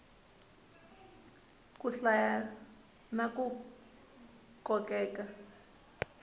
ku hlaya na ku kokeka